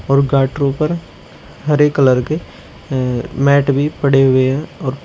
और गाटरों पर हरे कलर के अ मैट भी पड़े हुए हैं और --